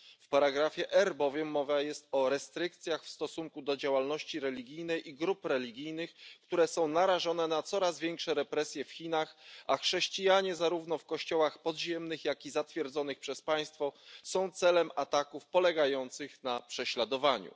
W ustępie R bowiem mowa jest o restrykcjach w stosunku do działalności religijnej i grup religijnych, które są narażone na coraz większe represje w Chinach, a chrześcijanie zarówno w kościołach podziemnych, jak i zatwierdzonych przez państwo są celem ataków polegających na prześladowaniu.